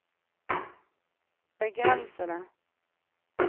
begrensede